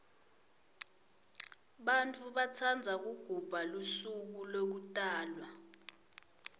bantfu batsandza kugubha lusuko lekutalwa